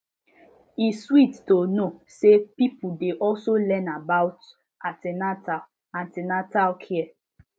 e sweet to know say pipo dey also learn about an ten atal an ten atal care